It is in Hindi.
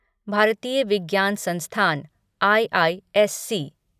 भारतीय विज्ञान संस्थान आईआईएससी